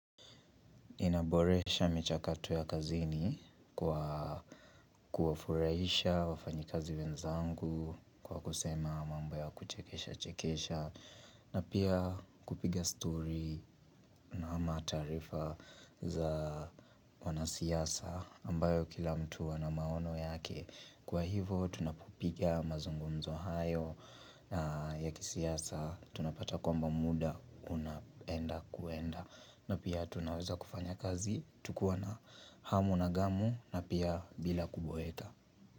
Inaboresha michakato ya kazini kwa kuwafurahisha wafanyikazi wenzangu kwa kusema mambo ya kuchekesha chekesha na pia kupiga story ama taarifa za wanasiasa ambayo kila mtu ana maono yake. Kwa hivyo tunapopiga mazungumzo hayo ya kisiasa tunapata kwamba muda unaenda kwenda na pia tunaweza kufanya kazi tukiwa na hamu na ghamu na pia bila kuboeka.